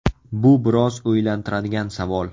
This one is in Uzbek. Bu biroz o‘ylantiradigan savol.